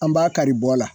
An b'a kari bɔ la